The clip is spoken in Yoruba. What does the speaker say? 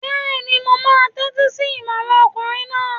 Bẹ́ẹ̀ni, mo máa tẹ́tí sí ìmọràn ọkùnrin náà